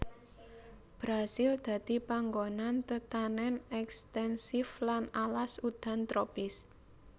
Brasil dadi panggonan tetanèn ekstensif lan alas udan tropis